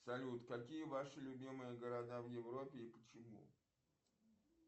салют какие ваши любимые города в европе и почему